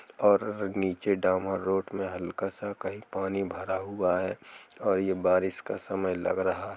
और नीचे दामा रोड में हल्का सा कहीं पानी भरा हुआ है और ये बारिश का समय लग रहा है |